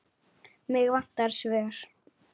Mig vantar svör.